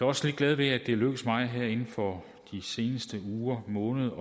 også lidt glad ved at det er lykkedes mig her inden for de seneste uger og måneder at